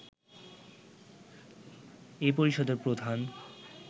এই পরিষদের প্রধান